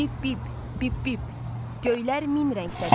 Bip-bip, bip-bip, göylər min rəngdədir.